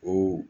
O